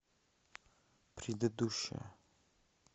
предыдущая